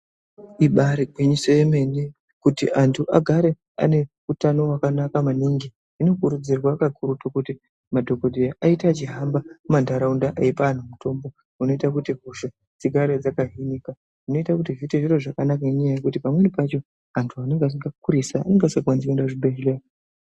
Ibari gwinyiso yemene, kuti antu agare ane utano hwakanaka maningi, zvinokurudzirwa kakurutu kuti madhokodheya aite achihamba mumantaraunda eyipa antu mitombo unoita kuti hosha dzigare dzakahinika. Zvinoita kuti zviite zviro zvakanaka inyaya yekuti pamweni pacho antu anenge akurisa anenge asingakwanisi kuenda kuzvibhedhleya.